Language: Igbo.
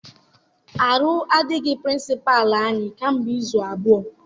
Arụ adịghị Pịrịnsịpalụ anyị ka mgbe izu abụọ.